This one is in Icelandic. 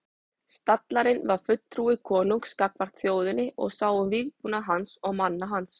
Stallarinn var fulltrúi konungs gagnvart þjóðinni og sá um vígbúnað hans og manna hans.